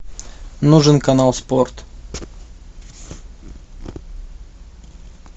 нужен канал спорт